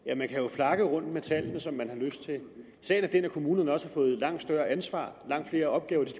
flakke rundt med tallene som man har lyst til sagen er den at kommunerne også har fået langt større ansvar langt flere opgaver de